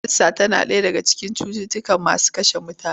Kansa tana ɗaya daga cikin cututtuka masu kashe mutane.